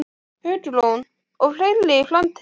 Hugrún: Og fleiri í framtíðinni?